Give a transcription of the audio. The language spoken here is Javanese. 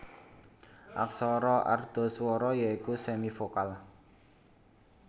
Aksara Ardhaswara ya iku semivokal